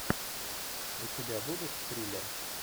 у тебя будет триллер